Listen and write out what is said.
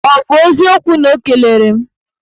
Ọ bụ eziokwu na o kelere m?